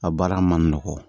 A baara ma nɔgɔn